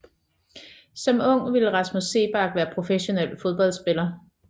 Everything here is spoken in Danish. Som ung ville Rasmus Seebach være professionel fodboldspiller